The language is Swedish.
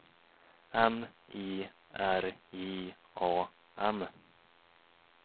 M I R J A M